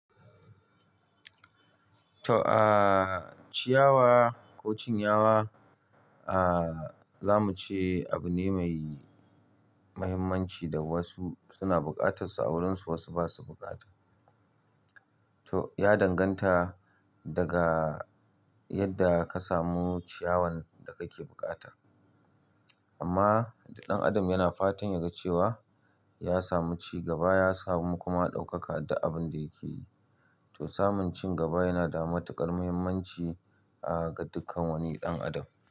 To, ah, ciyawa ko cinyawa, ah, zamu ce abu ne mai mahimmanci da wasu suna buƙatar su a wurinsu wasu ba su buƙata. To ya danganta, daga yadda ka samu ciyawan da kake buƙata. Amma, ɗan Adam yana fatan ya ga cewa ya samu cigaba, ya samu kuma ɗaukaka duk abun da yake yi. To samun cigaba yana da matuƙar mahimmanci, ah, ga dukkan wani ɗan Adam.